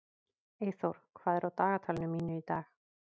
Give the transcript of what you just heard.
Eyþór, hvað er á dagatalinu mínu í dag?